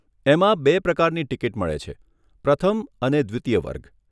એમાં બે પ્રકારની ટીકીટ મળે છે, પ્રથમ અને દ્વિતીય વર્ગ.